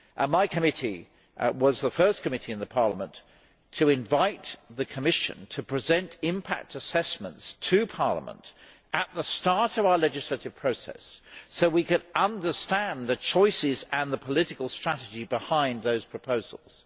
My committee was the first committee in Parliament to invite the Commission to present impact assessments to Parliament at the start of our legislative process so we could understand the choices and the political strategy behind those proposals.